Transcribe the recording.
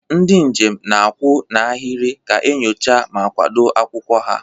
Ndị njem na-akwụ n'ahịrị ka enyocha ma kwado akwụkwọ ha.